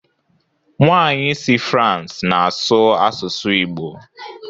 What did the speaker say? Nwanyị si France na-asụ asụsụ igbo.